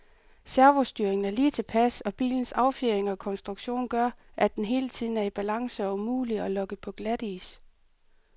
Servostyringen er lige tilpas, og bilens affjedring og konstruktion gør, at den hele tiden er i balance og umulig at lokke på glatis.